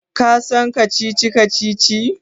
Ka san kacici-kacici?